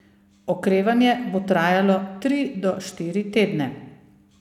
Okrevanje bo trajalo tri do štiri tedne.